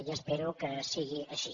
i espero que sigui així